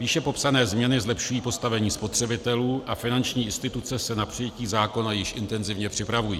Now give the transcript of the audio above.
Výše popsané změny zlepšují postavení spotřebitelů a finanční instituce se na přijetí zákona již intenzivně připravují.